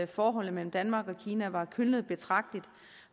forholdet mellem danmark og kina var kølnet betragteligt